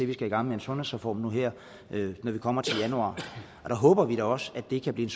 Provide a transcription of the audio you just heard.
vi skal i gang med en sundhedsreform nu her når vi kommer til januar og der håber vi da også at det kan blive